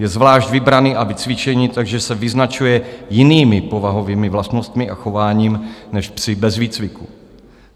Je zvlášť vybraný a vycvičený, takže se vyznačuje jinými povahovými vlastnostmi a chováním než psi bez výcviku.